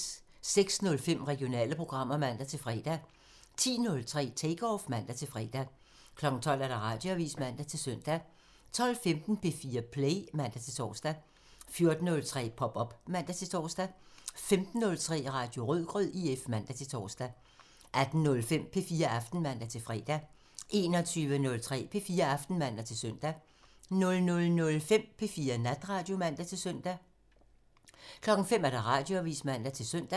06:05: Regionale programmer (man-fre) 10:03: Take Off (man-fre) 12:00: Radioavisen (man-søn) 12:15: P4 Play (man-tor) 14:03: Pop op (man-tor) 15:03: Radio Rødgrød IF (man-tor) 18:05: P4 Aften (man-fre) 21:03: P4 Aften (man-søn) 00:05: P4 Natradio (man-søn) 05:00: Radioavisen (man-søn)